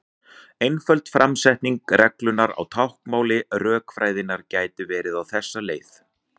Einföld framsetning reglunnar á táknmáli rökfræðinnar gæti verið á þessa leið: